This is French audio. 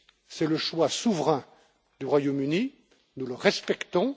C'est le choix souverain du Royaume Uni, et nous le respectons.